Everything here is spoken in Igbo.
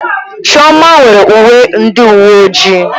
Chioma nwere uwe ndị uwe ojii.